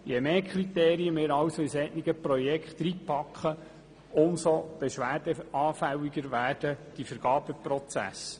Je mehr Kriterien wir also in solche Projekte hineinpacken, umso beschwerdeanfälliger werden die Vergabeprozesse.